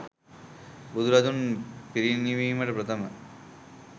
බුදුරදුන් පිරිනිවීමට ප්‍රථම